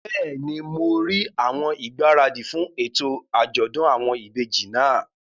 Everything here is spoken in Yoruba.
Bẹ́ẹ̀ni, mo rí àwọn ìgbáradì fún ètò àjọ̀dún àwọn ìbejì náà